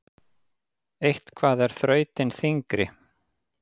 Eitthvað er þrautin þyngri